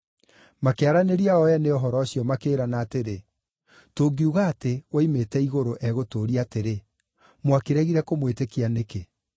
Makĩaranĩria o ene ũhoro ũcio, makĩĩrana atĩrĩ, “Tũngiuga atĩ ‘Woimĩte igũrũ’ egũtũũria atĩrĩ, ‘Mwakĩregire kũmwĩtĩkia nĩkĩ?’